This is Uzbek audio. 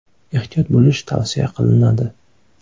Ehtiyot bo‘lish tavsiya qilinadi!